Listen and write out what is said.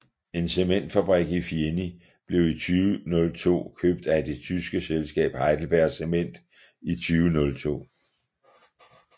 En cementfabrik i Fieni blev i 2002 købt af det tyske selskab HeidelbergCement i 2002